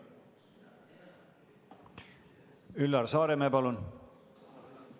Üllar Saaremäe, palun!